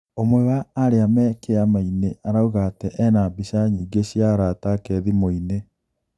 ũmwe wa aria me kiama ini arauga ati ena mbica nyige cia arata ake thimuini